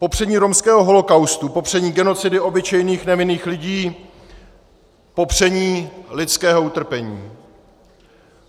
Popření romského holokaustu, popření genocidy obyčejných nevinných lidí, popření lidského utrpení.